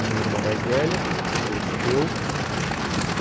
Uma irmã mais velha, depois eu.